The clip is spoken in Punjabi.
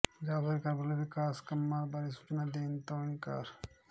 ਪੰਜਾਬ ਸਰਕਾਰ ਵੱਲੋਂ ਵਿਕਾਸ ਕੰਮਾਂ ਬਾਰੇ ਸੂਚਨਾ ਦੇਣ ਤੋਂ ਇਨਕਾਰ